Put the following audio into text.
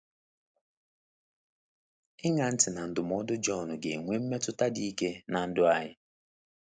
Ịṅa ntị na ndụmọdụ John ga-enwe mmetụta dị ike na ndụ anyị.